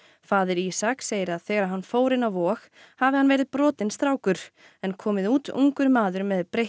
faðir Ísak segir að þegar hann fór inn á Vog hafi hann verið brotinn strákur en komið út ungur maður með breytt